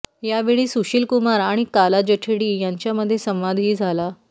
यावेळी सुशील कुमार आणि काला जठेडी यांच्यांमध्ये संवादही झाला